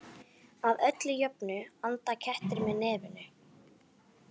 Að öllu jöfnu anda kettir með nefinu.